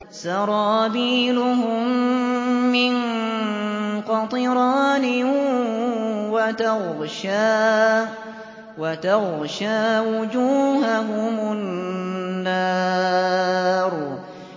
سَرَابِيلُهُم مِّن قَطِرَانٍ وَتَغْشَىٰ وُجُوهَهُمُ النَّارُ